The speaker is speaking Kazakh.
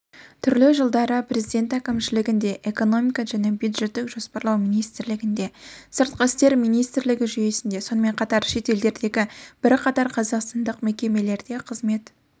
түрлі жылдары президенті әкімшілігінде экономика және бюджеттік жоспарлау министрлігінде сыртқы істер министрлігі жүйесінде сонымен қатар шетелдердегі бірқатар қазақстандық мекемелерде қызмет